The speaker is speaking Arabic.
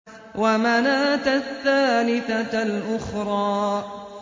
وَمَنَاةَ الثَّالِثَةَ الْأُخْرَىٰ